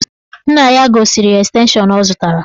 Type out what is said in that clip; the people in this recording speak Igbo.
Nna ya gosiri ya estenshọn ọ zụtara